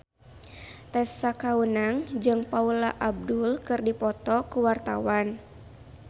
Tessa Kaunang jeung Paula Abdul keur dipoto ku wartawan